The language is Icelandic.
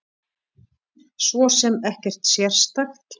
Svo sem ekkert sérstakt.